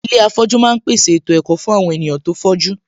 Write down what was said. Ilé afọ̀jú ma ń pèsè ètò ẹ̀kọ́ fún àwon ènìyàn tó fọ́jú